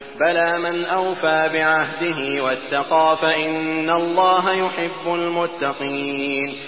بَلَىٰ مَنْ أَوْفَىٰ بِعَهْدِهِ وَاتَّقَىٰ فَإِنَّ اللَّهَ يُحِبُّ الْمُتَّقِينَ